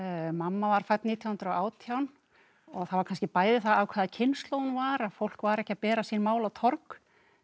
mamma var fædd nítján hundruð og átján og það var kannski bæði það af hvaða kynslóð hún var að fólk var ekki að bera sín mál á torg